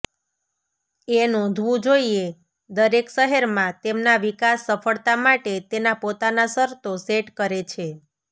એ નોંધવું જોઇએ દરેક શહેરમાં તેમના વિકાસ સફળતા માટે તેના પોતાના શરતો સેટ કરે છે